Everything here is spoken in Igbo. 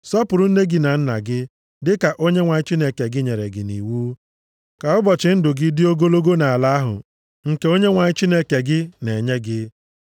Sọpụrụ nne gị na nna gị, dịka Onyenwe anyị Chineke gị nyere gị nʼiwu, ka ụbọchị ndụ gị dị ogologo nʼala ahụ nke Onyenwe anyị Chineke gị na-enye gị.